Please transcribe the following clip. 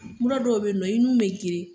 Mura dɔw bɛ ye nɔ i nu bɛ geren.